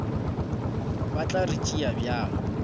ba tla re tšea bjang